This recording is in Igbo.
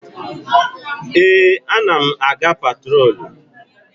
Ee, a na m aga patrolu.